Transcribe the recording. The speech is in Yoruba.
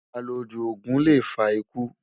àlọ jù ògún lè fà ikú